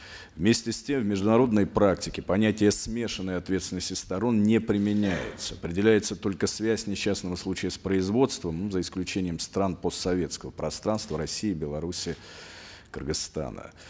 вместе с тем в международной практике понятие смешанной ответственности сторон не применяется определяется только связь несчастного случая с производством за исключением стран постсоветского пространства россии белоруссии кыргызстана